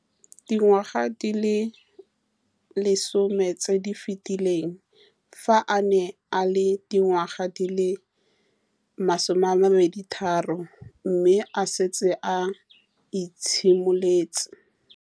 Dingwaga di le 10 tse di fetileng, fa a ne a le dingwaga di le 23 mme a setse a itshimoletse